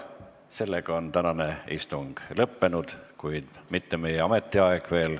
Sellega on tänane istung lõppenud, kuid mitte veel meie ametiaeg.